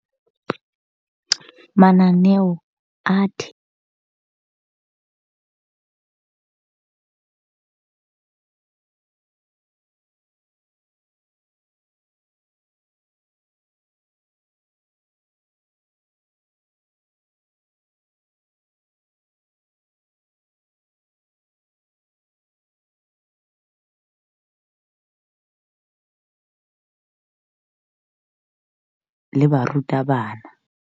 Mananeo a le barutabana.